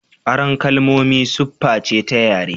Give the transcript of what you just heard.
Aron kalmomi sufface ta yare.